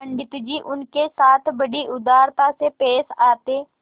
पंडित जी उनके साथ बड़ी उदारता से पेश आते